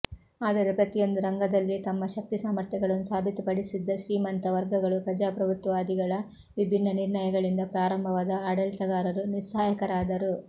ಆದರೆ ಪ್ರತಿಯೊಂದು ರಂಗದಲ್ಲಿ ತಮ್ಮ ಶಕ್ತಿಸಾಮರ್ಥ್ಯಗಳನ್ನು ಸಾಬೀತುಪಡಿಸಿದ್ದ ಶ್ರೀಮಂತ ವರ್ಗಗಳು ಪ್ರಜಾಪ್ರಭುತ್ವವಾದಿಗಳ ವಿಭಿನ್ನ ನಿರ್ಣಯಗಳಿಂದ ಪ್ರಾರಂಭದ ಆಡಳಿತಗಾರರು ನಿಸ್ಸಹಾಯಕರಾದರು